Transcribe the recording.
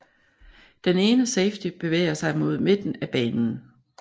Den ene safety bevæger sig mod midten af banen